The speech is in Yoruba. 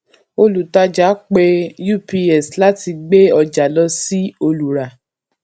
olùtàjà pe ups láti gbé ọjà lọ sí olùrà